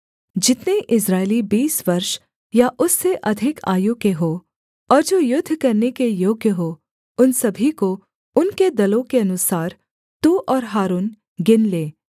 जितने इस्राएली बीस वर्ष या उससे अधिक आयु के हों और जो युद्ध करने के योग्य हों उन सभी को उनके दलों के अनुसार तू और हारून गिन ले